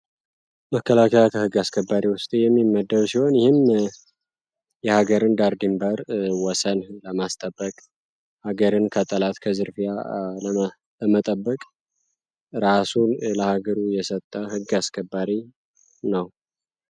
መከላከያ ከህግ አስከባሪ ውስጥ የሚመደብ ሲሆን ይህም የሀገርን ዳር ድንበር ወሰን ማስከበር ሀገርን ከጠላት ከዝርፊያ ለመጠበቅ ራሱን ለሀገሩ የሰጠ ህግ አስከባሪ ነው።